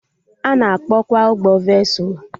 Ana akpọ kwa ụgbọ vesụlụ